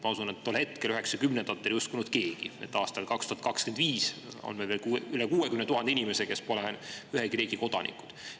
Ma usun, et tol ajal, 1990-ndatel ei uskunud keegi, et aastal 2025 on meil üle 60 000 inimese, kes pole ühegi riigi kodanikud.